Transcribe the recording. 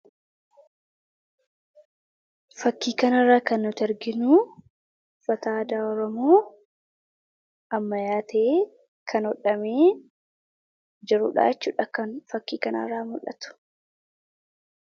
Fakkii kanarraa kan nuti arginu uffata aadaa oromoo ammayyaa ta'ee kan hodhame jiruudha jechuudha kan fakkii kanarraa muldhatu.